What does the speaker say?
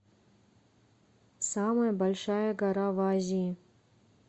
самая большая гора в азии